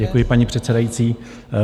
Děkuji, paní předsedající.